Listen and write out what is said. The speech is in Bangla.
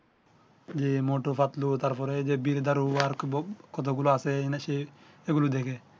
জ্বি মটু পাতলু তার পরে এই যে বিজধারু ওয়ার্ক বুক কত গুলো আছে এনে সেই এগুলো দেখে